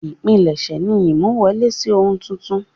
Ìpilẹ̀ṣẹ̀ ni ìmú wọlé sí ohun tuntun.